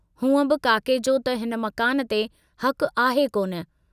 हूंअ बि काके जो त हिन मकान ते हकु आहे कोन।